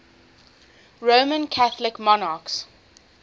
roman catholic monarchs